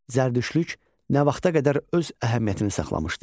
Zərdüştlük nə vaxta qədər öz əhəmiyyətini saxlamışdı?